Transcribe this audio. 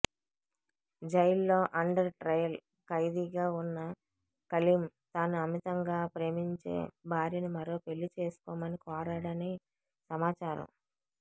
జైలులో under trial ఖైదీగా ఉన్న కలీం తాను అమితంగా ప్రేమించే భార్యను మరో పెళ్లి చేసుకోమని కోరాడని సమాచారం